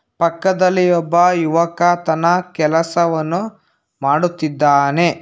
ಪಕ್ಕದಲ್ಲಿ ಒಬ್ಬ ಯುವಕ ತನ ಕೆಲಸವನು ಮಾಡುತ್ತಿದ್ದಾನೆ.